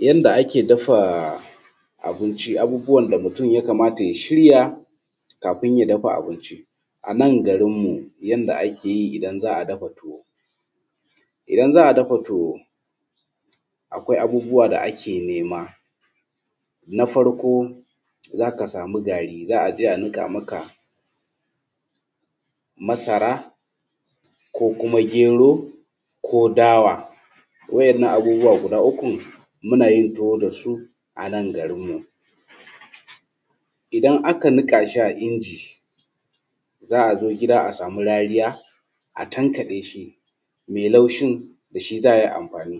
Yanda ake dafa abinci abubuwan da mutum ya kamata ya shirya kafun ya dafa abinci. A nan garin mu yanda ake yi idan za’a dafa tuwo, kafin a dafa tuwo akwai abubuwa da ake nema na farko za ka samu gari za a je a niƙa maka masara ko kuma gero ko dawa wajen nan abubuwa guda ukun muna yin tuwa da su, a nan garinmu idan aka niƙa shi a inji za zo gida a samu rariya a tankaɗe shi mai lushin da shi za a yi amfani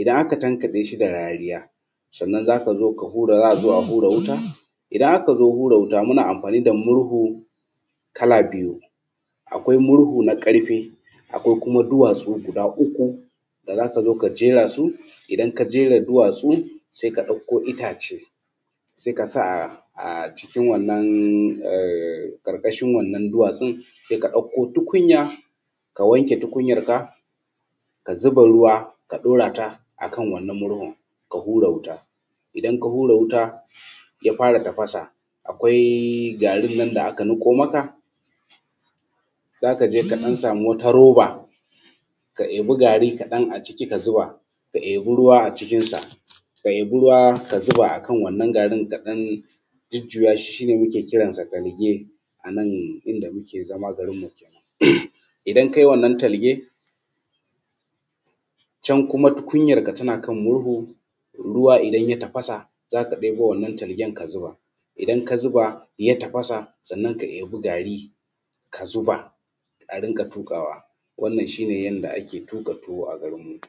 idan aka tankaɗe shi da rariya, sannan za a zo a hura wuta idan aka zo hura wuta muna anfani da murhu kala biyu, akwai murhu na ƙarfe, akwai kuma duwatsu guda uku da za ka zo ka jera su. Idan ka jera su se ka ɗauko itace se ka sa a cikin wannan ƙarƙashin wannan duwatsun se ka ɗauko tukunya ka wanke tukunyanka ka zuba ruwa ka ɗorata akan wannan murhunka, ka hura wuta idan ka hura wuta ya fara tafasa akwai garin nan da aka niƙo maka za ka je kaɗan samu wata roba ka ɗebi gari kaɗan a ciki ka saka, ka ɗebi ruwa a cikinsa ka ɗebi ruwa ka zuba akan wannan garin ka ɗan jujjuya shi, shi ne muke kiransa talge. A nan inda muke zama garinnmu idan kai wannan talge can kuma tukunyanka na kan murhu ruwa kuma idan ya tafasa za ka ɗebo wannan talgen ka zuba idan ka zuba ya tafasa sannan ka ɗiba gari ka zuba a rinƙa tuƙawa wannan shi ne yanda ake tuƙa tuwa a garinmu.